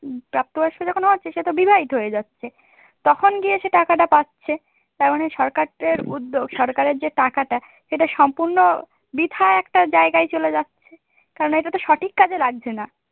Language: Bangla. প্রাপ্ত বয়স্ক যখন হচ্ছে সে তো বিবাহিত হয়ে যাচ্ছে তখন গিয়ে সে টাকাটা পাচ্ছে তার মানে সরকারদের উদ্যোগ সরকারের যে টাকাটা সেটা সম্পূর্ণ বৃথা একটা জায়গায় চলে যাচ্ছে কারণ এটা তো সঠিক কাজে লাগছে না।